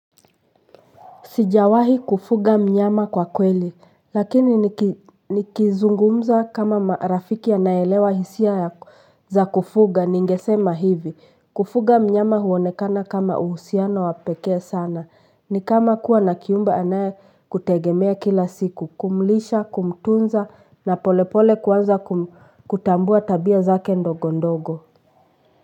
Sijawahi kufuga mnyama kwa kweli lakini nikizungumza kama marafiki anaye elewa hisia za kufuga ningesema hivi kufuga mnyama huonekana kama uhusiano wapekee sana ni kama kuwa na kiumbe anaye kutegemea kila siku kumlisha kumtunza na polepole kuanza kutambua tabia zake ndogo ndogo.